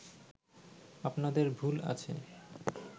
আপনাদের ভুল আছে